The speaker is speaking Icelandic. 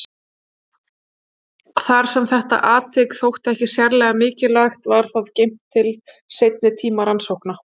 Þar sem þetta atvik þótti ekki sérlega mikilvægt var það geymt til seinni tíma rannsókna.